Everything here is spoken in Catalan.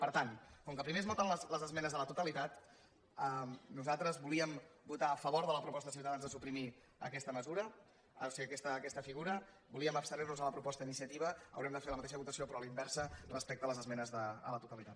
per tant com que primer es voten les esmenes a la totalitat i nosaltres volíem votar a favor de la proposta de ciutadans de suprimir aquesta figura volíem abstenir nos a la proposta d’iniciativa haurem de fer la mateixa votació però a la inversa respecte a les esmenes a la totalitat